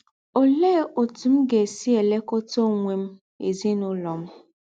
Ọlee ọtụ m ga - esi elekọta ọnwe m na ezinụlọ m?